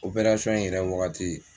Opɛrasɔn in yɛrɛ wagati